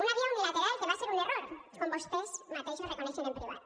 una via unilateral que va ser un error com vostès mateixos reconeixen en privat